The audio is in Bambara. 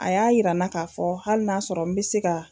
A y'a yirana k'a fɔ hali n'a sɔrɔ n bɛ se ka.